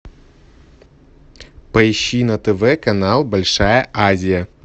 поищи на тв канал большая азия